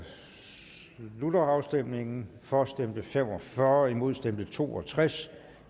slutter afstemningen for stemte fem og fyrre imod stemte to og tres